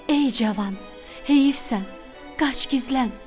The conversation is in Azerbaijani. Ey cavan, heyifsən, qaç gizlən.